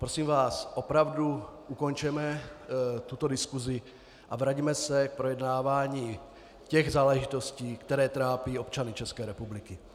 Prosím vás, opravdu, ukončeme tuto diskusi a vraťme se k projednávání těch záležitostí, které trápí občany České republiky.